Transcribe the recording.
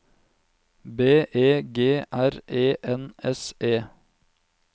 B E G R E N S E